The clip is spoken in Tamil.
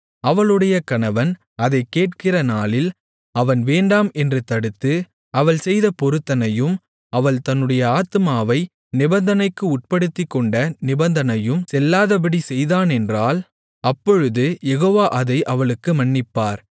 அவளுடைய கணவன் அதைக் கேட்கிற நாளில் அவன் வேண்டாம் என்று தடுத்து அவள் செய்த பொருத்தனையும் அவள் தன்னுடைய ஆத்துமாவை நிபந்தனைக்கு உட்படுத்திக்கொண்ட நிபந்தனையும் செல்லாதபடி செய்தானென்றால் அப்பொழுது யெகோவா அதை அவளுக்கு மன்னிப்பார்